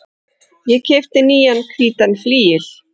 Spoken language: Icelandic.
Ég keypti nýjan hvítan flygil.